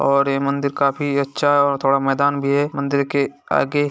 और ये मंदिर काफी अच्छा है और थोड़ा मैदान भी है मंदिर के आगे।